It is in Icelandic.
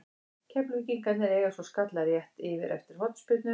Keflvíkingarnir eiga svo skalla rétt yfir eftir hornspyrnu.